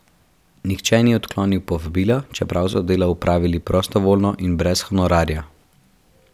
Nihče ni odklonil povabila, čeprav so delo opravili prostovoljno in brez honorarja.